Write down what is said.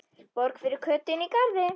Borg fyrir Kötu inní garði.